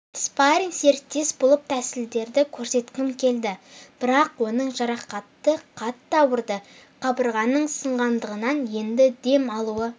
спарринг-серіктес болып тәсілдерді көрсеткім келді бірақ оның жарақаты қатты ауырды қабырғаның сынғандығынан енді дем алуы